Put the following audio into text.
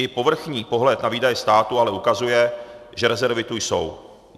I povrchní pohled na výdaje státu ale ukazuje, že rezervy tu jsou.